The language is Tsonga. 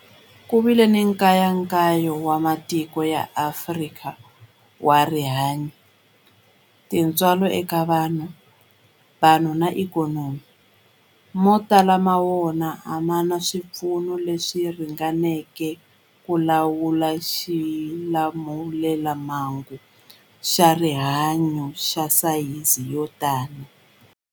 Ku vile nkayakayo wa matiko ya Afrika wa rihanyu, tintswalo eka vanhu, vanhu na ikhonomi, mo tala ma wona a ma na swipfuno leswi ringaneleke ku lawula xilamulelamhangu xa rihanyu xa sayizi yo tani.